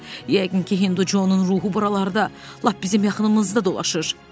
Yəqin ki Hinducun ruhu buralarda, lap bizim yaxınımızda dolaşır.